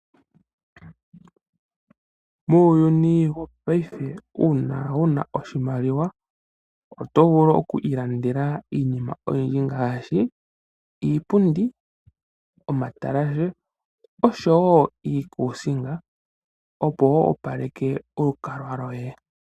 Muuyuni wopaife una wuna oshimaliwa otovulu okwiilandela iinima oyindji ngaashi iipundi, omatalashe osho wo iikusinga opo woopaleke olukalwa lyoye.